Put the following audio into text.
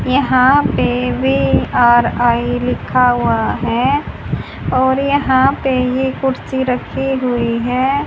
यहां पे रे आर_आई लिखा हुआ हैं और यहां पे ये कुर्सी रखी हुई हैं।